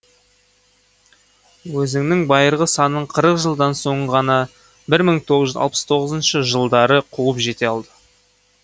өзінің байырғы санын қырық жылдан соң ғана бір мың тоғыз жүз алпыс тоғызыншы жылдары қуып жете алды